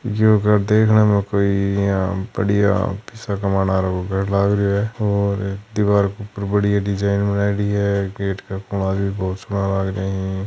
यह कोई देखने में पैसा कमाने को घर लाग रहियो है और दिवार के ऊपर बढ़िया डिजाइन बनाईओडी है और गेट के ऊपर --